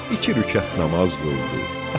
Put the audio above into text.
İki rükət namaz qıldı.